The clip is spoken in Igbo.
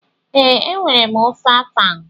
Ee, enwere m ofe afang.